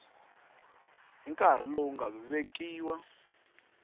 hi nkarhi lowu nga vekiwa